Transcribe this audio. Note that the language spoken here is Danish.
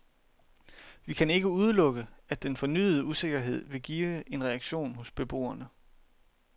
Vi kan ikke udelukke, at den fornyede usikkerhed vil give en reaktion hos beboerne.